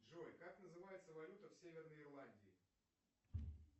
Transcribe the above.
джой как называется валюта в северной ирландии